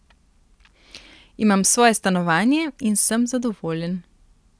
Imam svoje stanovanje in sem zadovoljen.